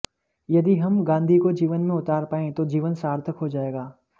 यदि हम गांधी को जीवन में उतार पाएं तो जीवन सार्थक हो जाएगा